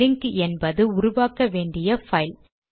link என்பது உருவாக்க வேண்டிய பைல்